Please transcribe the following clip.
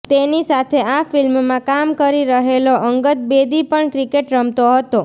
તેની સાથે આ ફિલ્મમાં કામ કરી રહેલો અંગદ બેદી પણ ક્રિકેટ રમતો હતો